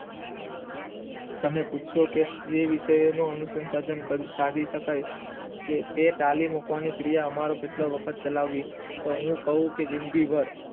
તને પૂછશો કે જે વિષયોનો અનુસંસાધન સાધી શકાય છે તે તાલીમ આપણને કેટલા વખત ચલાવી તે હું કવ કે જિંદગી ભાર